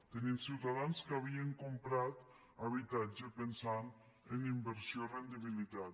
tenim ciutadans que havien comprat habitatge pensant en inversió i rendibilitat